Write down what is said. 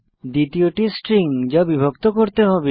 দ্বিতীয়টি স্ট্রিং যা বিভক্ত করতে হবে